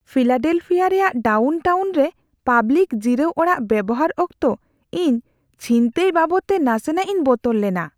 Philadelphia ᱨᱮᱭᱟᱜ downtown ᱨᱮ public ᱡᱤᱨᱟᱹᱣ ᱚᱲᱟᱜ ᱵᱮᱣᱦᱟᱨ ᱚᱠᱛᱚ ᱤᱧ ᱪᱷᱤᱱᱛᱟᱹᱭ ᱵᱟᱵᱚᱫᱛᱮ ᱱᱟᱥᱮᱱᱟᱜᱼᱤᱧ ᱵᱚᱛᱚᱨ ᱞᱮᱱᱟ ᱾